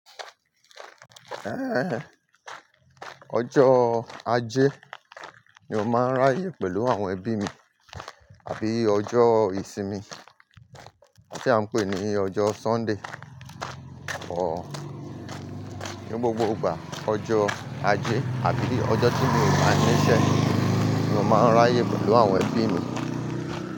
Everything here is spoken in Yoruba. Ẹ́, ọjọ́ Ajé ni mo máa ń ráyè pẹ̀lú àwọn ẹbí mi, àbí ọjọ́ ìsinmi tí a ń pè ní ọjọ́ Sunday. Or ní gbogbo ìgbà, ọjọ́ Ajé àbí ọjọ́ tí mi ò bá ní iṣẹ́ ni mo máa ń ráyè pẹ̀lú àwọn ẹbí mi.